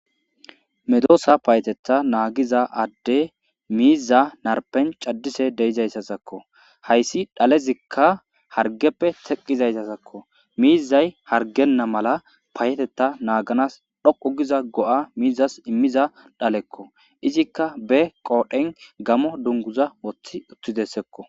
Medoosa payetetha naagiza adde miiza narpen caddise deizayssasakko hayssi dhalezikka hargeppe teqqizayssasakko miizay hargenna mala payeteta naaganas dhoqu giza go7a miizas immiza dhalekko izikka be qoodhen gamo dunguza woththi uththi dessekko.